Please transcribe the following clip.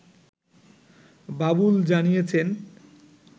বাবুল জানিয়েছেন